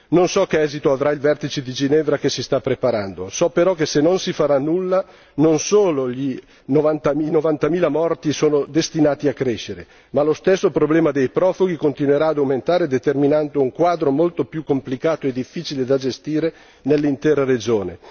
Non so che esito avrà il vertice di Ginevra che si sta preparando, so però che se non si farà nulla, non solo i novantamila morti sono destinati a crescere, ma lo stesso problema dei profughi continuerà ad aumentare determinando un quadro molto più complicato e difficile da gestire nell'intera regione.